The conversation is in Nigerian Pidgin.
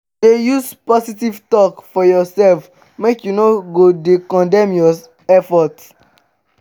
dey use positive tok for urself mek yu no go dey condemn yur effort